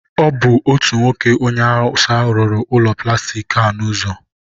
ọ bụ otu nwoke onye awụsa rụrụ ụlọ plastik a n'ụzọ.